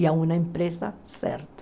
E a uma empresa certa.